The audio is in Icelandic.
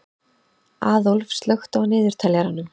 Aðólf, slökktu á niðurteljaranum.